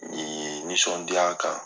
Ni nisɔndiya kan